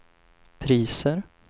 priser